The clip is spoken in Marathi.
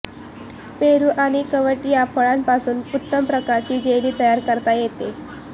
पेरू आणि कवठ या फळांपासून उत्तम प्रकारची जेली तयार करता येते